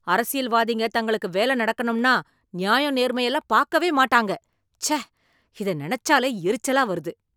அரசியல்வாதிங்க தங்களுக்கு வேலை நடக்கணும்னா நியாயம், நேர்மை எல்லாம் பார்க்கவே மாட்டாங்க, ச்சே இத நினைச்சாலே எரிச்சலா வருது